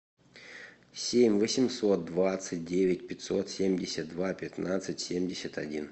семь восемьсот двадцать девять пятьсот семьдесят два пятнадцать семьдесят один